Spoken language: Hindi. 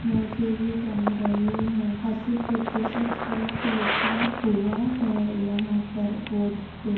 मोज़े भी टंग रहे हैं। अस्सी प्रतिशत ऑफ लिखा हुआ है यहाँ पर बोर्ड पे ।